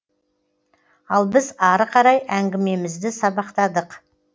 ал біз ары қарай әңгімемізді сабақтадық